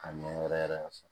Ka ɲɛ wɛrɛ yɛrɛ fɛ